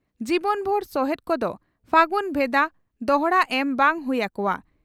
ᱡᱤᱵᱚᱱᱵᱷᱩᱨ ᱥᱚᱦᱮᱛ ᱠᱚᱫᱚ ᱯᱷᱟᱹᱜᱩᱱ ᱵᱷᱮᱫᱟ ᱫᱚᱦᱲᱟ ᱮᱢ ᱵᱟᱝ ᱦᱩᱭ ᱟᱠᱚᱣᱟ ᱾